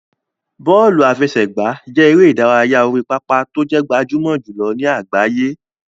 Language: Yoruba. Bọ́ọ̀lù àfẹsẹ̀gbá jẹ́ eré ìdárayá orí pápá tó jẹ́ gbajúmọ̀ jùlọ ní àgbáyé.